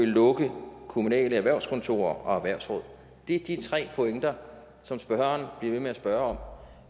lukke kommunale erhvervskontorer og erhvervsråd det er de tre pointer som spørgeren bliver ved med at spørge